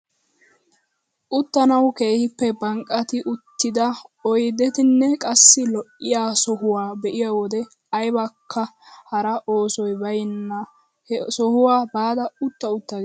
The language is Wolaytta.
Uttanawu keehippe banqqati uttida oydetanne qassi lo"iyaa sohuwaa be'iyo wode aybakka hara oosoy bayna he sohuwaa baada utta utta ges!